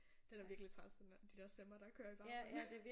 Det er da virkelig træls den der de der stemmer der kører i baggrunden